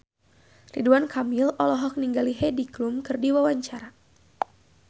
Ridwan Kamil olohok ningali Heidi Klum keur diwawancara